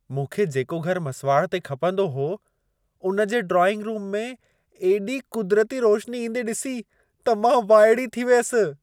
मूंखे जेको घर मसुवाड़ ते खपंदो हो, उन जे ड्राइंग-रूम में एॾी कुदिरती रोशनी ईंदे ॾिसी त मां वाइड़ी थी वियसि।